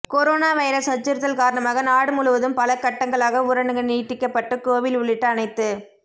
corona virus அச்சுறுத்தல் காரணமாக நாடு முழுவதும் பல கட்டங்களாக ஊரடங்கு நீட்டிக்கப்பட்டு கோவில் உள்ளிட்ட அனைத்து